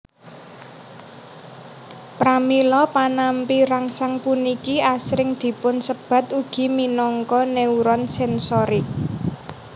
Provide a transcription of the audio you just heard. Pramila panampi rangsang puniki asring dipunsebat ugi minangka neuron sensorik